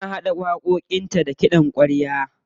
Tana haɗa waƙoƙinta da kiɗan ƙwarya.